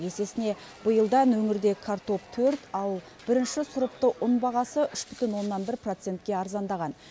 есесіне биылдан өңірде картоп төрт ал бірінші сұрыпты ұн бағасы үш бүтін оннан бір процентке арзандаған